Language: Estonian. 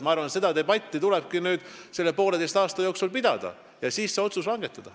Ma arvan, et selle poolteise aasta jooksul tulebki nüüd debatti pidada ja siis otsus langetada.